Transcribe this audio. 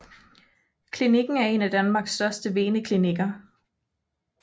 Klinikken er en af Danmarks største veneklinikker